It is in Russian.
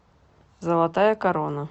золотая корона